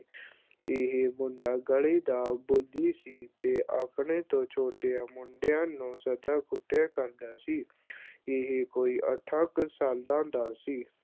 ਇਹ ਮੁੰਡਾ ਗਲੀ ਦਾ ਬੁਲੀ ਸੀ ਤੇ ਆਪਣੇ ਤੋਂ ਛੋਟਿਆਂ ਮੁੰਡਿਆਂ ਨੂੰ ਸਦਾ ਕੁੱਟਿਆ ਕਰਦਾ ਸੀ ਇਹ ਕੋਈ ਅੱਠਾਂ ਕੁ ਸਾਲਾਂ ਦਾ ਸੀ,